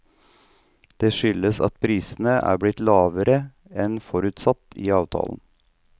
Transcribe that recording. Det skyldes at prisene er blitt lavere enn forutsatt i avtalen.